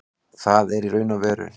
Það er í raun og veru